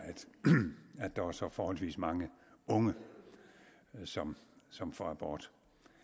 at der er så forholdsvis mange unge som som får abort